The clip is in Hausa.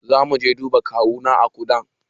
Zamu je duba kawuna a kudan